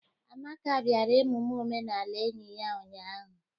Amaka bịara emume omenala enyi ya ụnyahụ.